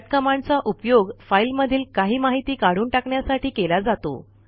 cut कमांडचा उपयोग file मधील काही माहिती काढून टाकण्यासाठी केला जातो